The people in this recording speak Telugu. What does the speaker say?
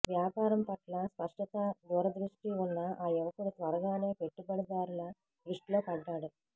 వ్యాపారం పట్ల స్పష్టతా దూరదృష్టీ ఉన్న ఆ యువకుడు త్వరగానే పెట్టుబడిదారుల దృష్టిలో పడ్డాడు